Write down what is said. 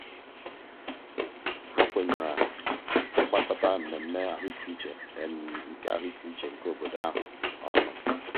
ha kwenyere ịgbakọta mmemme ahụikeuche nke ahụikeuche nke obodo ahụ ọnụ.